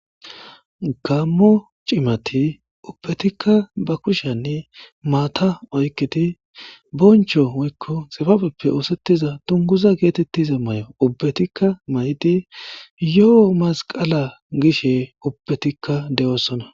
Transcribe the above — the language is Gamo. Gaammo cimathi ubbethikka ba kushiyaani maathaa oykkidi bonchcho woykko tsibabeppe ooseththiza dungguza geetheththiza mayo ubbethikka mayidi yoo masqqala gishee ubbethikka de7oosona.